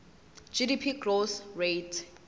gdp growth rate